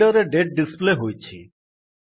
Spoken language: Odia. ହେଡର୍ ରେ ଡେଟ୍ ଡିସପ୍ଲେ ହୋଇଛି